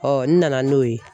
n nana n'o ye